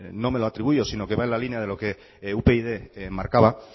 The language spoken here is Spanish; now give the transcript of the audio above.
no me lo atribuyó sino que va en la línea de lo que upyd marcaba